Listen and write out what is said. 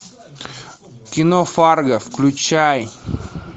кино фарго включай